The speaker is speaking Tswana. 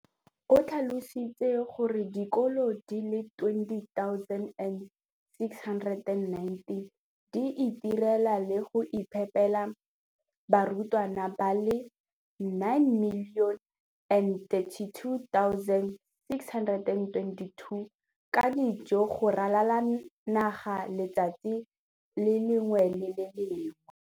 O tlhalositse gore dikolo di le 20 619 di itirela le go iphepela barutwana ba le 9 032 622 ka dijo go ralala naga letsatsi le lengwe le le lengwe.